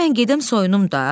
Day mən gedim soyunum da.